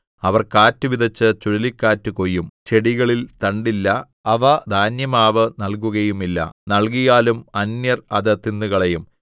അവർ കാറ്റ് വിതച്ച് ചുഴലിക്കാറ്റ് കൊയ്യും ചെടികളിൽ തണ്ടില്ല അവ ധാന്യമാവ് നല്കുകയുമില്ല നല്കിയാലും അന്യർ അത് തിന്നുകളയും